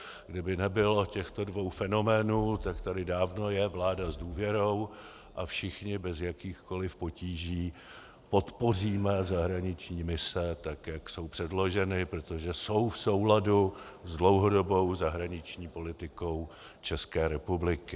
Kdyby nebylo těchto dvou fenoménů, tak tady dávno je vláda s důvěrou a všichni bez jakýchkoli potíží podpoříme zahraniční mise tak, jak jsou předloženy, protože jsou v souladu s dlouhodobou zahraniční politikou České republiky.